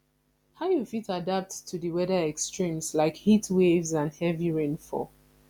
how you fit adapt to di weather extremes like heatwaves and heavy rainfall